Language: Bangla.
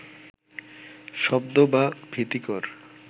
শব্দ বা ভীতিকর